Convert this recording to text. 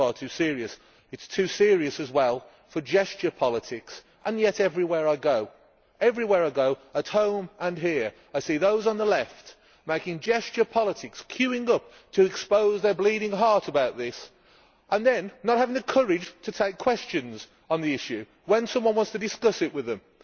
This is far too serious. It is too serious as well for gesture politics, and yet everywhere I go, at home and here, I see those on the Left making gesture politics queuing up to expose their bleeding heart about this, and then not having the courage to take questions on the issue when someone wants to discuss it with them.